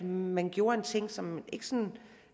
man gjorde en ting som ikke sådan